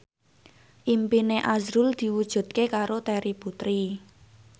impine azrul diwujudke karo Terry Putri